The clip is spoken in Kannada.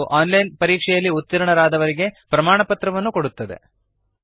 ಹಾಗೂ ಆನ್ ಲೈನ್ ಪರೀಕ್ಷೆಯಲ್ಲಿ ಉತ್ತೀರ್ಣರಾದವರಿಗೆ ಪ್ರಮಾಣಪತ್ರವನ್ನು ಕೊಡುತ್ತದೆ